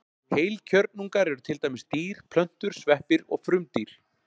Heilkjörnungar eru til dæmis dýr, plöntur, sveppir og frumdýr.